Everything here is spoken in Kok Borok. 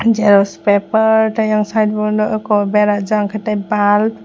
xerox paper tei ayang side o le wngko berajak tei pal.